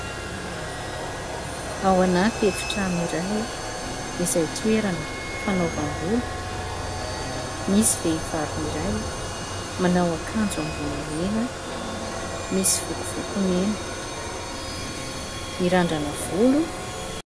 Ao anaty efitrano iray izay toerana fanaovam-bolo. Misy vehivavy iray manao akanjo ambony mena, misy vokovoko mena, mirandrana volo.